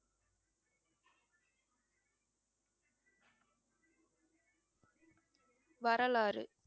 வரலாறு